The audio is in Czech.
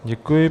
Děkuji.